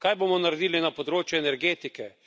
Kaj bomo naredili na področju energetike?